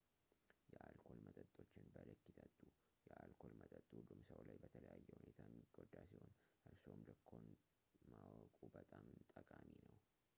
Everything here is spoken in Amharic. የአልኮል መጠጦችን በልክ ይጠጡ የአልኮል መጠጥ ሁሉም ሰው ላይ በተለያየ ሁኔታ የሚጎዳ ሲሆን እርስዎም ልክዎን ማወቁ በጣም ጠቃሚ ነው